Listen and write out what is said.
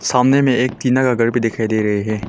सामने में एक टीना का घर भी दिखाई दे रहे है।